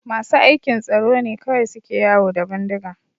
Masu aikin tsaro ne kawai suke yawo da bindiga